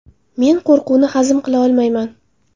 Men qo‘rquvni hazm qila olmayman.